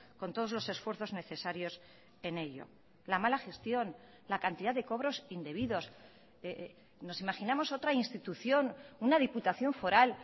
con todos los esfuerzos necesarios en ello la mala gestión la cantidad de cobros indebidos nos imaginamos otra institución una diputación foral